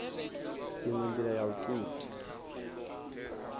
inwe ndila ya u thusa